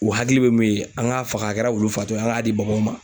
U hakili be min ye ,an ka faga a kɛra olu fatɔ ye ,an ka di baganw ma.